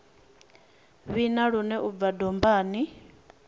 vhina lune u bva dombani